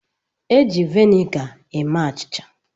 E ji vinega eme achịcha.